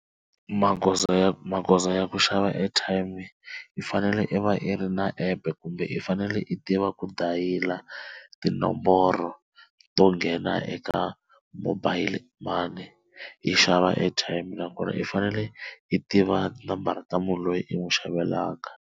Magoza ya magoza ya ku xava airtime i fanele i va i ri na app kumbe i fanele i tiva ku dayila tinomboro to nghena eka mobile money yi xava airtime na kona i fanele i tiva nambara ta munhu loyi i n'wi xavelaka.